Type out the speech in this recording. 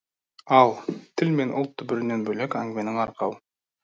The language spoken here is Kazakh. ал тіл мен ұлт түбірінен бөлек әңгіменің арқауы